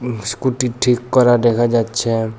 Scooty ঠিক করা দেখা যাচ্ছে।